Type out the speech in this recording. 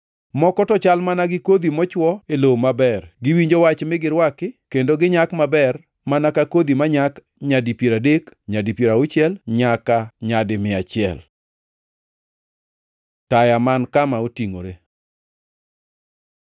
Moko to chal mana gi kodhi mochuo e lowo maber, giwinjo Wach mi girwaki. Kendo ginyak maber mana ka kodhi manyak nyadi piero adek, nyadi piero auchiel, nyaka nyadi mia achiel.” Taya man kama otingʼore